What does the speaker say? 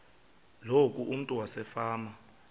loku umntu wasefama